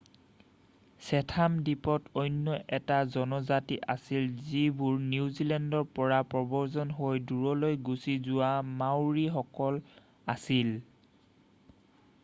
Chatham দ্বীপত অন্য এটা জনজাতি আছিল যিবোৰ নিউজেলেণ্ডৰ পৰা প্ৰব্ৰজন হৈ দূৰলৈ গুচি যোৱা মাওৰি সকল আছিল